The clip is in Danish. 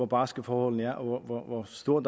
barske forholdene er og hvor stor